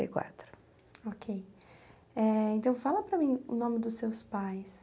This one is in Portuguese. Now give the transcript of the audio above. e quatro Okay eh então, fala para mim o nome dos seus pais.